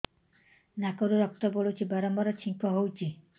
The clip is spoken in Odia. ନାକରୁ ରକ୍ତ ପଡୁଛି ବାରମ୍ବାର ଛିଙ୍କ ହଉଚି